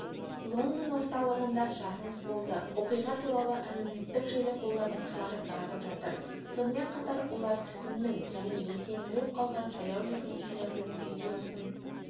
лондон орталығында жарылыс болды оқиға туралы әлеуметтік желі қолданушылары жазып жатыр сонымен қатар олар түтіннің және есеңгіреп қалған жаяу жүргіншілердің видеосын